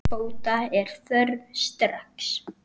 Úrbóta er þörf strax.